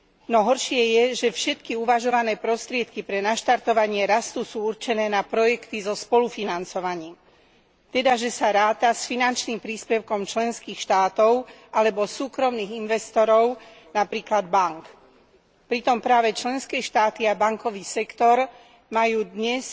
No horšie je, že všetky uvažované prostriedky pre naštartovanie rastu sú určené na projekty so spolufinancovaním. Teda, že sa ráta s finančným príspevkom členských štátov alebo súkromných investorov, napríklad bánk. Pritom práve členské štáty a bankový sektor majú dnes